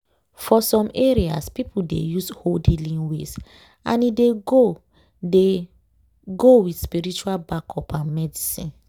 for some areas people dey use old healing ways and e dey go dey go with spiritual backup and medicine.